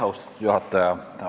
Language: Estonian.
Austatud juhataja!